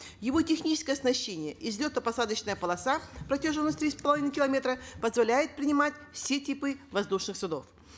его техническое оснащение и взлетно посадочная полоса протяженностью три с половиной километра позволяет принимать все типы воздушных судов